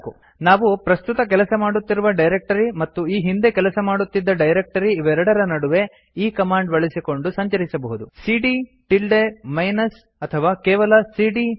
ನಾವು ಪ್ರಸ್ತುತ ಕೆಲಸ ಮಾಡುತ್ತಿರುವ ಡೈರಕ್ಟರಿ ಮತ್ತು ಈ ಹಿಂದೆ ಕೆಲಸ್ ಮಾಡುತ್ತಿದ್ದ ಡೈರಕ್ಟರಿ ಇವೆರಡರ ನಡುವೆ ಈ ಕಮಾಂಡ್ ಬಳಸಿಕೊಂಡು ಸಂಚರಿಸಬಹುದು ಸಿಡಿಯ ಟಿಲ್ಡೆ ಮೈನಸ್ ಅಥವಾ ಕೇವಲ ಸಿಡಿಯ ಮೈನಸ್